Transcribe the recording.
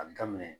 A bɛ daminɛ